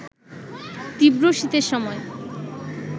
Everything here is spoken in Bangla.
তীব্র শীতের সময়